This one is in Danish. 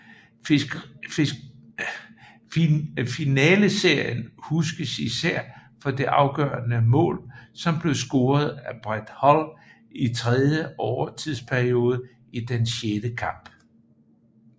Finaleserien huskes især for det afgørende mål som blev scoret af Brett Hull i tredje overtidsperiode i den sjette kamp